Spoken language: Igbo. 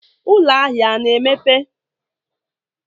Ụlọ ahịa a na-emepe?